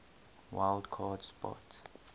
wild card spot